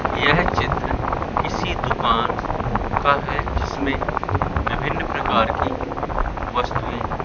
यह चित्र किसी दुकान का है जिसमें विभिन्न प्रकार की वस्तुए--